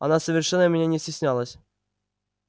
она совершенно меня не стеснялась